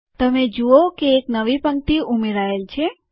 તમે જુઓ કે એક નવી પંક્તિ ઉમેરાયેલ છે